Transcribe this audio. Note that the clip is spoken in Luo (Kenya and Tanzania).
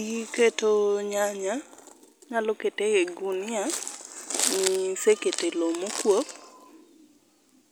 Iketo nyanya ,inyalo kete e gunia misekete loo mokuok,